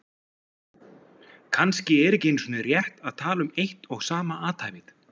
Kannski er ekki einu sinni rétt að tala um eitt og sama athæfið.